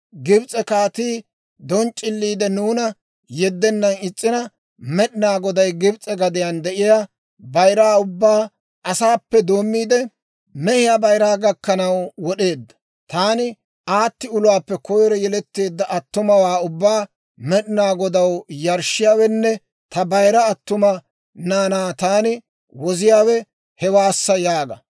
Gibs'e kaatii donc'c'iliide nuuna yeddennan is's'ina, Med'inaa Goday Gibs'e gadiyaan de'iyaa bayiraa ubbaa, asaappe doommiide mehiyaa bayiraa gakkanaw wod'eedda. Taani aati uluwaappe koyro yeletteedda attumawaa ubbaa Med'inaa Godaw yarshshiyaawenne ta bayira attuma naanaa taani woziyaawe hewaassa› yaaga.